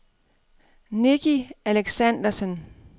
Nicky Alexandersen